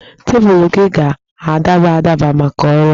Teepụ gị ga-adaba adaba maka ọrụ a